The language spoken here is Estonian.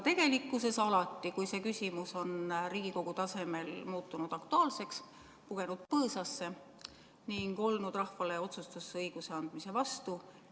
Tegelikkuses on küll alati, kui see küsimus on Riigikogu tasemel aktuaalseks muutunud, poetud põõsasse ning oldud rahvale otsustusõiguse andmise vastu.